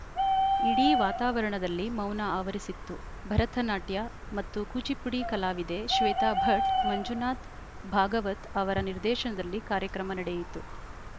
ಇಡೀ ವಾತಾವರಣದಲ್ಲಿ ಮೌನ ಆವರಿಸಿತ್ತು ಭರತನಾಟ್ಯ ಮತ್ತು ಕೂಚಿಪುಡಿ ಕಲಾವಿದೆ ಶ್ವೇತಾ ಭಟ್‌ ಮಂಜುನಾಥ್‌ ಭಾಗವತ್‌ ಅವರ ನಿರ್ದೇಶನದಲ್ಲಿ ಕಾರ್ಯಕ್ರಮ ನಡೆಯಿತು